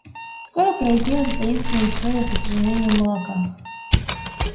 скоро прояснилась и таинственная история с исчезновением молока